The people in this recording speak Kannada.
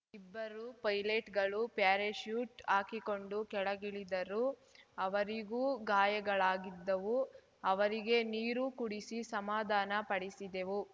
ಇಬ್ಬರು ಪೈಲಟ್‌ಗಳು ಪ್ಯಾರಾಚ್ಯೂಟ್‌ ಹಾಕಿಕೊಂಡು ಕೆಳಗಿಳಿದರು ಅವರಿಗೂ ಗಾಯಗಳಾಗಿದ್ದವು ಅವರಿಗೆ ನೀರು ಕುಡಿಸಿ ಸಮಾಧಾನ ಪಡಿಸಿದೆವು